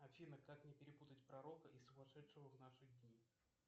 афина как не перепутать пророка и сумасшедшего в наши дни